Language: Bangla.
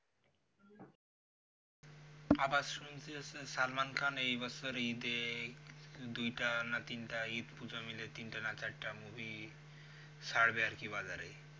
আবার শুনতেছি যে salman khan এই বছর ইদে দুইটা না তিনটা ইদ পুজ মিলে তিনটা না চারটা movie ছাড়বে আরকি বাজারে